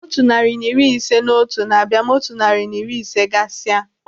Otu narị na iri ise na otu na-abịa ma otu narị na iri ise gasia.